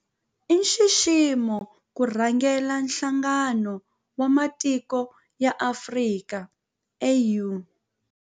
I nxiximo ku rhangela Nhlangano wa Matiko ya Afrika, AU.